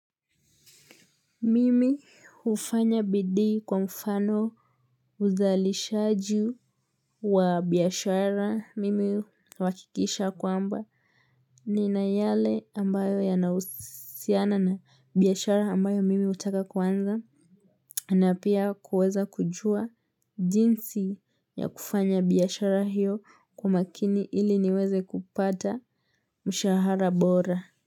Mimi hufanya bidii kwa mfano uzalishaji wa biashara mimi huwakikisha kwamba nina yale ambayo yanausiana na biashara ambayo mimi utaka kwanza. Na pia kuweza kujua jinsi ya kufanya biashara hiyo kwa makini ili niweze kupata mshahara bora.